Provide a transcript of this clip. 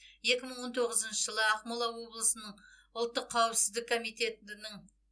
екі мың он тоғызыншы жылы ақмола облысының ұлттық қауіпсіздік комитетінің